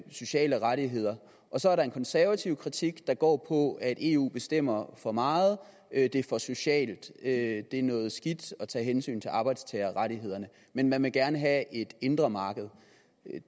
sociale rettigheder og så er der en konservativ kritik der går på at eu bestemmer for meget at det er for socialt at det er noget skidt at tage hensyn til arbejdstagerrettighederne men man vil gerne have et indre marked